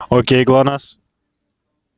окей глонассс